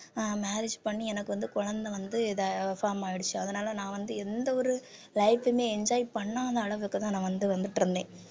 அஹ் marriage பண்ணி எனக்கு வந்து குழந்தை வந்து ட~ form ஆயிடுச்சு அதனால நான் வந்து எந்த ஒரு life உமே enjoy பண்ணாத அளவுக்குதான் நான் வந்து வந்துட்டிருந்தேன்